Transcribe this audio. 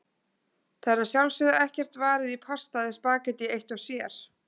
Það er að sjálfsögðu ekkert varið í pasta eða spaghetti eitt sér.